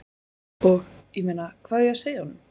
Og, ég meina, hvað á ég að segja honum?